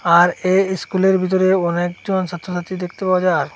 আর এ ইস্কুলের ভিতরে অনেকজন সাত্রসাত্রী দেখতে পাওয়া যার।